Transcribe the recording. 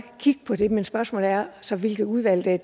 kigge på det men spørgsmålet er så hvilket udvalg der er